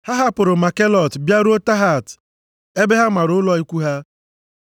Ha hapụrụ Makhelot bịaruo Tahat ebe ha mara ụlọ ikwu ha.